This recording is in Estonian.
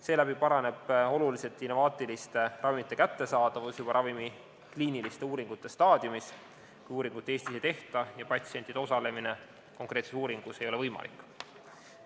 Seeläbi paraneb oluliselt innovaatiliste ravimite kättesaadavus juba ravimi kliiniliste uuringute staadiumis, kui uuringut Eestis ei tehta ja patsientide osalemine konkreetses uuringus ei ole võimalik.